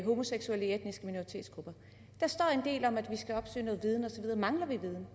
homoseksuelle i etniske minoritetsgrupper der står en del om at vi skal opsøge viden og så videre mangler vi viden